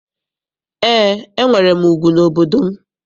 Eé, enwere m ugwu n'obodo gị.